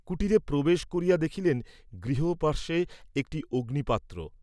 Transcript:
কুটিরে প্রবেশ করিয়া দেখিলেন, গৃহ পার্শ্বে একটি অগ্নিপাত্র।